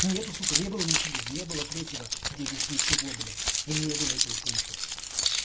нет сука не было ничего не было третьего где здесь ничего блять не было этого пункта блять